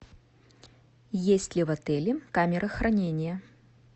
есть ли в отеле камера хранения